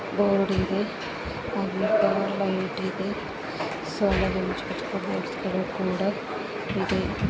Board ಇದೆ light ಇದೆ ಗೋಸ್ಕರ ಕೂಡ ಇದೆ.